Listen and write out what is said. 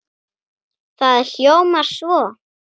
Það hljómar svo